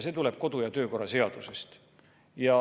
See tuleneb kodu- ja töökorra seadusest.